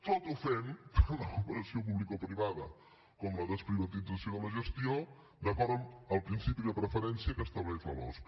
tot ho fem per la cooperació publicoprivada com la desprivatització de la gestió d’acord amb el principi de preferència que estableix la losc